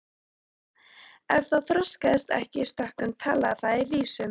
Ef það þroskaðist ekki í stökkum talaði það í vísum.